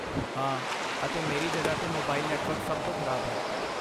ਹਾਂ, ਅਤੇ ਮੇਰੀ ਜਗ੍ਹਾ 'ਤੇ ਮੋਬਾਈਲ ਨੈਟਵਰਕ ਸਭ ਤੋਂ ਖਰਾਬ ਹੈ।